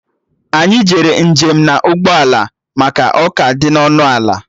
Anyị jere njem na ụgbọ ala maka ọ ka dị ọnụ ala